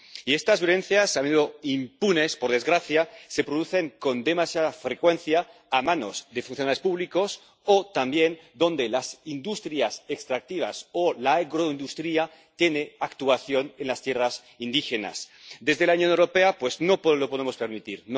Y estas violencias —a menudo impunes, por desgracia— se producen con demasiada frecuencia a manos de funcionarios públicos o, también, donde las industrias extractivas o la agroindustria actúan en las tierras indígenas. Desde la Unión Europea no lo podemos permitir.